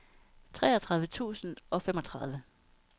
treogtredive tusind og femogtredive